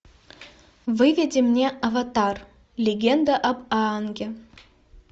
выведи мне аватар легенда об аанге